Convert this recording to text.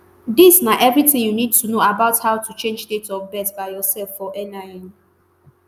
dis na eviritin you need to know about how to change date of birth by yourself for nin.